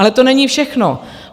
Ale to není všechno.